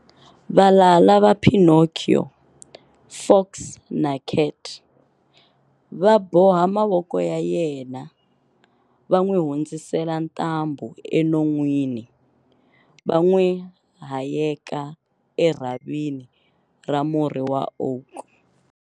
Valala va Pinocchio, Fox na Cat, va boha mavoko ya yena, va n'wi hundzisela ntambhu enon'wini, va n'wi hayeka erhavini ra murhi wa oak.